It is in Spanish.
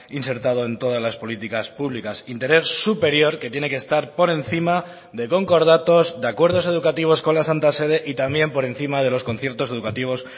insertado en todas las políticas públicas interés superior que tiene que estar por encima de concordatos de acuerdos educativos con la santa sede y también por encima de los conciertos educativos